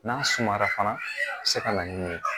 N'a sumara fana a bi se ka na ni ye